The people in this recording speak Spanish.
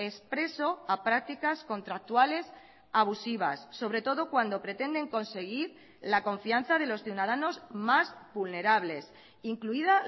expreso a prácticas contractuales abusivas sobre todo cuando pretenden conseguir la confianza de los ciudadanos más vulnerables incluida